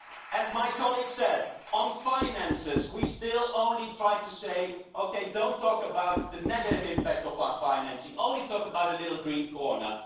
As my colleague said, on finances we still only try to say okay, don't talk about the negative impact of our financing, only talk about a little green corner'.